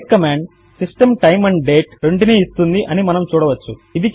date command system time and date రెంటినీ ఇస్తున్నది అని మనము చూడవచ్చు